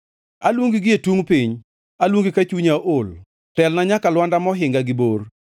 Aluongi gie tungʼ piny, aluongi ka chunya ool; telna nyaka lwanda mohinga gi bor.